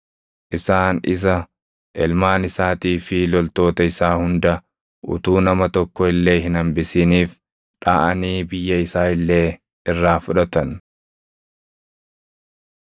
Isaan isa, ilmaan isaatii fi loltoota isaa hunda utuu nama tokko illee hin hambisiniif dhaʼanii biyya isaa illee irraa fudhatan.